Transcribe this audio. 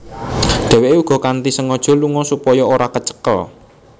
Dheweke uga kanthi sengaja lunga supaya ora kecekel